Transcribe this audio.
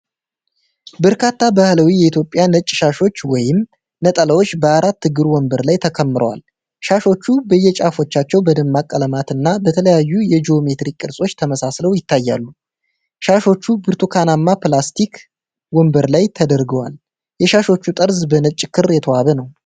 በርካታ ባህላዊ የኢትዮጵያ ነጭ ሻሾች ወይም ነጠላዎች በአራት እግር ወንበር ላይ ተከምረዋል። ሻሾቹ በየጫፋቸው በደማቅ ቀለማትና በተለያዩ የጂኦሜትሪክ ቅርጾች ተመስለው ይታያሉ። ሻሾቹ በብርቱካናማ ፕላስቲክ ወንበር ላይ ተደርድረዋል። የሻሾቹ ጠርዝ በነጭ ክር የተዋበ ነው።